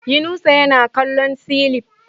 Yunusa yana kallon cilif